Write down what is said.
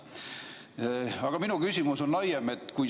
Aga minu küsimus on laiem.